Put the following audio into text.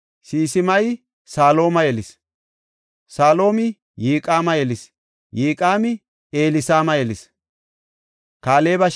Sisimayi Salooma yelis; Saloomi Yiqaama yelis; Yiqaami Elisaama yelis.